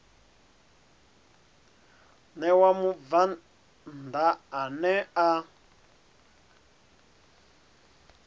ṋewa mubvann ḓa ane a